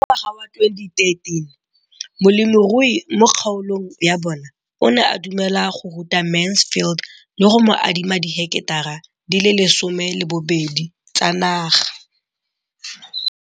Ka ngwaga wa 2013, molemirui mo kgaolong ya bona o ne a dumela go ruta Mansfield le go mo adima di heketara di le 12 tsa naga.